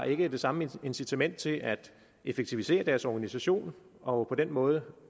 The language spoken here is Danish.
ikke har det samme incitament til at effektivisere deres organisation og på den måde